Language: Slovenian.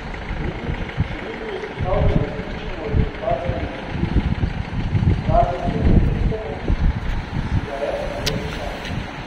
Denič še ni bil izpostavljen resničnemu rezultatskemu pritisku, razen seveda tistemu, ki si ga je naložil sam.